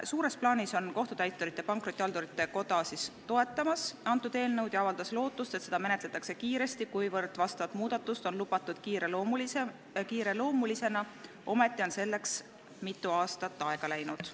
Suures plaanis toetab Kohtutäiturite ja Pankrotihaldurite Koda seda eelnõu ning avaldab lootust, et seda menetletakse kiiresti, kuivõrd seda muudatust on lubatud menetleda kiireloomulisena, ometi on selleks mitu aastat aega läinud.